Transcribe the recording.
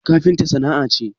Kafinta sana'a ce?